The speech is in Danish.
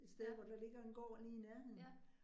Ja. Ja